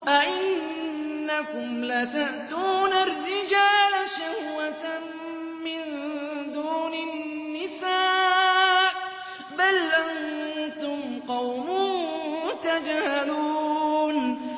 أَئِنَّكُمْ لَتَأْتُونَ الرِّجَالَ شَهْوَةً مِّن دُونِ النِّسَاءِ ۚ بَلْ أَنتُمْ قَوْمٌ تَجْهَلُونَ